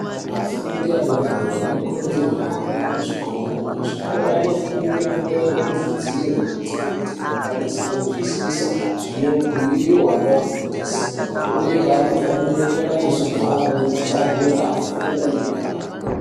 Afundi adori-dori anokurudzirwe kuhambe kuzvikora. Kuzvikora anofane kunyorerwe kuzvidziro kuitira kuti a kwanise kuzwisisa zvinobhuyiwa navafundisi, uye vanofanira kunga anezvigaro nematabura, afunde aine mudakaro.